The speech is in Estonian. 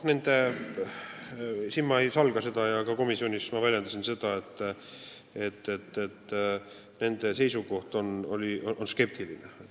Ma ei salga ja ka komisjonis ma väljendasin seda, et nende seisukoht oli skeptiline.